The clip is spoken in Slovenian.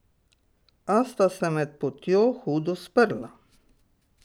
A sta se med potjo hudo sprla.